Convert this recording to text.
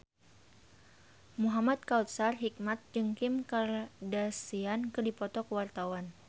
Muhamad Kautsar Hikmat jeung Kim Kardashian keur dipoto ku wartawan